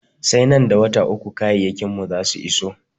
Sai nan da wata uku kayayyakin mu za su iso.